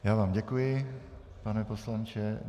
Já vám děkuji, pane poslanče.